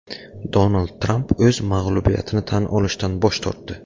Donald Tramp o‘z mag‘lubiyatini tan olishdan bosh tortdi .